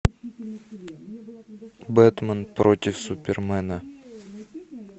бэтмен против супермена